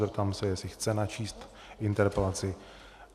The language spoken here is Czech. Zeptám se, jestli chce načíst interpelaci.